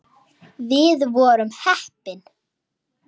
Við vorum heppni.